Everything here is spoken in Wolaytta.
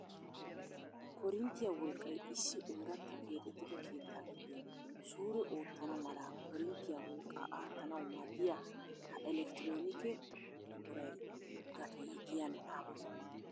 koorinttiya wolqqay issi oorata keexxetida keetta giddon suure oottana mala koorintiya wolqqa aattanawu maaddiya ha elektronike buquray gatee giyan aappunee?